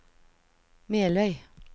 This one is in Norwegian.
Meløy